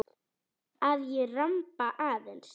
Að ég ramba aðeins.